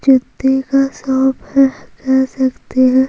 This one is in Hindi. जूते का शॉप है कह सकते है।